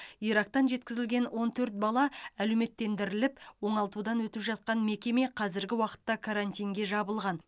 ирактан жеткізілген он төрт бала әлеуметтендіріліп оңалтудан өтіп жатқан мекеме қазіргі уақытта карантинге жабылған